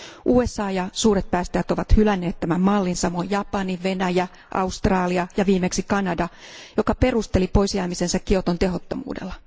USA ja suuret päästäjät ovat hylänneet tämän mallin, samoin Japani, Venäjä, Australia ja viimeksi Kanada, joka perusteli poisjäämisensä Kioton tehottomuudella.